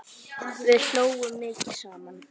Við hlógum mikið saman.